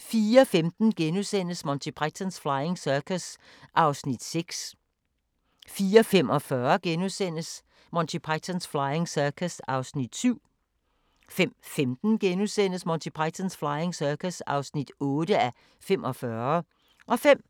04:15: Monty Python's Flying Circus (6:45)* 04:45: Monty Python's Flying Circus (7:45)* 05:15: Monty Python's Flying Circus (8:45)* 05:40: